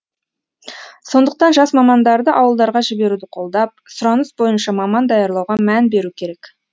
сондықтан жас мамандарды ауылдарға жіберуді қолдап сұраныс бойынша маман даярлауға мән беру керек